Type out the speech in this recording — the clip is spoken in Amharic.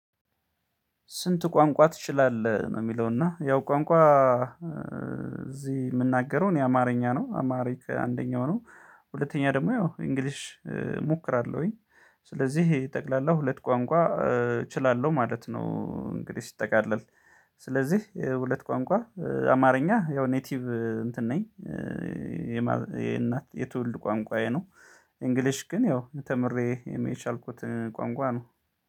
ስንት? ቋንቋ ትችላለህ ነው የሚለው እና ያው ቋንቋ እዚህ የምናገረው እኔ አማርኛ ነው አማሪክ አንደኛው ነው ሁለተኛ ደግሞ ያው እንግሊሽ እሞክራለሁኝ። ስለዚህ ጠቅላላ ሁለት ቋንቋ እችላለሁ ማለት ነው። እንግዲህ ሲጠቃለል ስለዚህ ሁለት ቋንቋ አማርኛ ያው ኔቲቭ እንትን ነኝ። የእናት የትውልድ ቋንቋዬ ነው። እንግሊሽ ግን ያው ተምሬ የሚቻልኩትን ቋንቋ ነው።